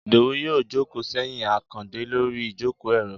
idowú yóò jòkó seyín akande Lori ìjokó- eró